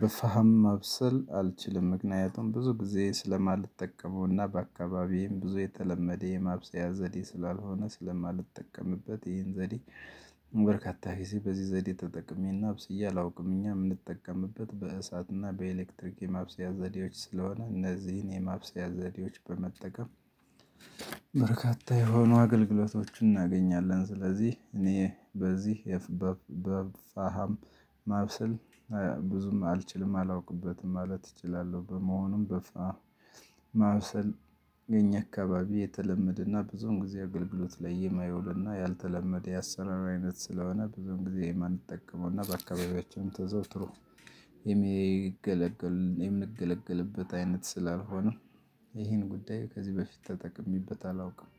በፈሃም ማብሰል አልችልም ምክንያቱም ብዙ ጊዜ ስለማልጠቀመውና በአካባቢዬም ብዙ የተለመደ የማብሰያ ዘዴ ስላልሆነ ስለማልጠቀምበት ይሄን ዘዴ። በርካታ ጊዜ በዚህ ዘዴ ተጠቅሜና አብስዬ አላውቅም እኛ የምንጠቀምበት በእሳትና በኤሌክትሪክ የማብሰያ ዘዴዎች ስለሆነ እነዚህን የማብሰያ ዘዴዎች በመጠቀም። በርካታ የሆኑ አገልግሎቶችን እናገኛለን ስለዚህ እኔ በዚህ የፋሃም ፋሃም ማብሰል ብዙም አልችልም አላውቅበትም ማለት እችላለሁ። በመሆኑም በፍና ማብሰል የኛ አካባቢ የተለመደና ብዙም ጊዜ አገልግሎት ላይ የማየው እና ያልተለመደ ያሰራር ስለሆነ በደንብ ጊዜ የማንጠቀመው እና በአካባቢያችን ተዘውትሮ የሚገለገል የምንገለገልበት አይነት ስላልሆነ ይሄን ጉዳዩ ከዚህ በፊት ተጠቅሜበት አላውቅም።